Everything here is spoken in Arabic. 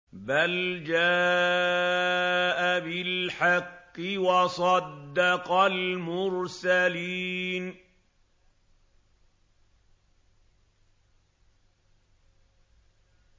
بَلْ جَاءَ بِالْحَقِّ وَصَدَّقَ الْمُرْسَلِينَ